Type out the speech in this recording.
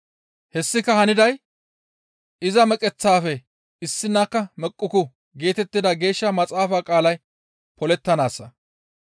Hessika haniday, «Iza meqeththafe issinakka meqquku» geetettida Geeshsha maxaafa qaalay polettanaassa.